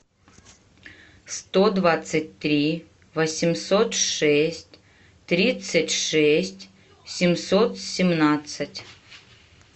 сто двадцать три восемьсот шесть тридцать шесть семьсот семнадцать